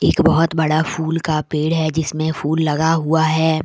एक बहोत बड़ा फूल का पेड़ है जिसमें फूल लगा हुआ है।